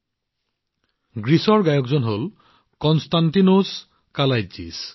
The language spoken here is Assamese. এই গানটো গ্ৰীচৰ যিজন গায়কে গাইছে তেওঁ হল কনষ্টাণ্টিনোছ কালাইটজিছ